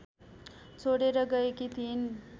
छोडेर गएकी थिइन्